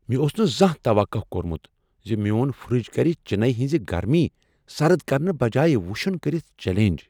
مےٚ اوس نہٕ زانٛہہ توقہٕ كورمٗت ز میون فرٛج کر چِنیی ہنزِ گرمی سرد کرنہٕ بجایہ وٗشٗن کٔرتھ چلینج ۔